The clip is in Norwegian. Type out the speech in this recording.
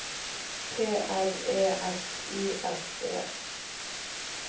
P R E S I S E